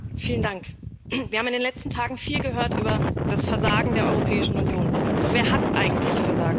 Frau Präsidentin! Wir haben in den letzten Tagen viel gehört über das Versagen der Europäischen Union, doch wer hat eigentlich versagt?